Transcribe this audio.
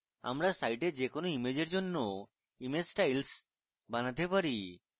আমরা site যে কোনো ইমেজের জন্য image styles বানাতে পারি